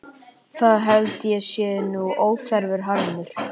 Það held ég sé nú óþarfur harmur.